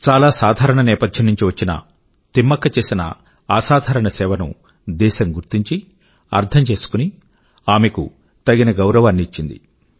చాల సాధారణ నేపథ్యం నుంచి వచ్చిన తిమ్మక్క చేసిన అసాధారణ సేవ ను దేశం గుర్తించి అర్థం చేసుకుని ఆమె కు తగిన గౌరవాన్ని ఇచ్చింది